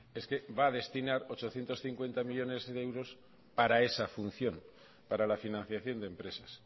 es que va a destinar ochocientos cincuenta millónes de euros para esa función para la financiación de empresas